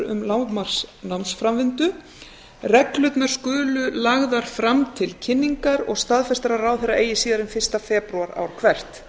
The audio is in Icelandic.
um lágmarksnámsframvindu reglurnar skulu lagðar fram til kynningar og staðfestar af ráðherra eigi síðar en fyrsta febrúar ár hvert